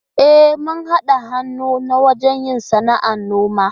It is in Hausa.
E, mun haɗa hannu ne wajen yin sana'ar noman.